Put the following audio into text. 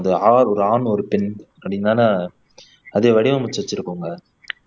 ஒரு ஆண் ஒரு பெண் அப்படீன்னு தானே அதை வடிவமைச்சு வச்சிருப்பாங்க